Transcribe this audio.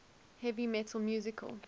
heavy metal musical